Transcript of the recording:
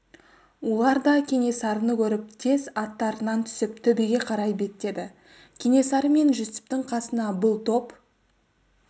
олар да кенесарыны көріп тез аттарынан түсіп төбеге қарай беттеді кенесары мен жүсіптің қасына бұл топ